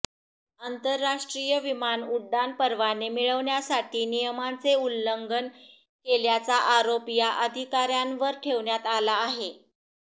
आंतरराष्ट्रीय विमान उड्डाण परवाने मिळवण्यासाठी नियमांचे उल्लंघन केल्याचा आरोप या अधिकाऱयांवर ठेवण्यात आला आहे